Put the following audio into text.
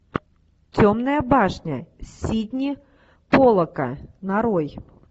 темная башня сидни поллака нарой